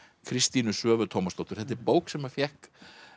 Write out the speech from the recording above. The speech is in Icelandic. Kristínu Svövu Tómasdóttur þetta er bók sem að fékk